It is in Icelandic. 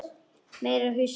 Meira hyskið!